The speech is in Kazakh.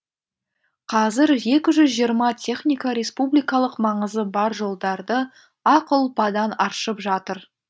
қазір екі жүз жиырма техника республикалық маңызы бар жолдарды ақ ұлпадан аршып жатыр